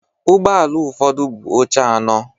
Ụgbọ ala ụfọdụ buu oche anọ.